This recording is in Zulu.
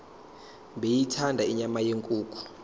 beyithanda inyama yenkukhu